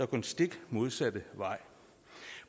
den stik modsatte vej